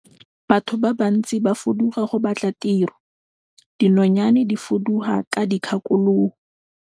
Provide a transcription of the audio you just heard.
Batho ba bantsi ba fuduga go batla tiro, dinonyane di fuduga ka dikgakologo.